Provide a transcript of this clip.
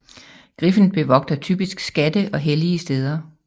Griffen bevogter typisk skatte og hellige steder